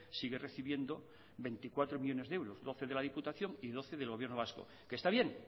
sigue recibiendo veinticuatro millónes de euros doce de la diputación y doce del gobierno vasco que está bien